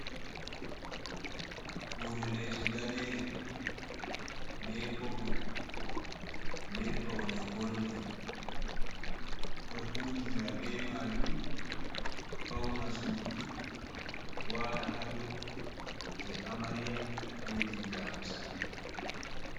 Hore leso danere, be popol, be faune goldin, ɗo hutiira be majum fauna sudu wala hadow je amariya be je jamu sare,